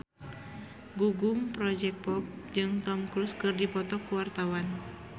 Gugum Project Pop jeung Tom Cruise keur dipoto ku wartawan